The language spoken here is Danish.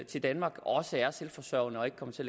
til danmark også er selvforsørgende og ikke kommer til